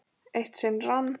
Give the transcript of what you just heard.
Eitt sinn rann